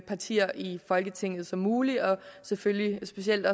partier i folketinget som muligt og selvfølgelig specielt